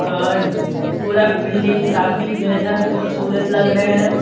और पूरा बिल्डिंग काफी बेहद खूबसूरत लग रहे हैं।